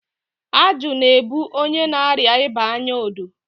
ajụ na-ebu onye na-arịa ịba anya odo.